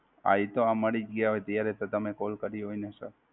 હા એ તો મળી જ ગ્યાં હોય ત્યારે જ તો તમે Call કરી હોય ને Sir!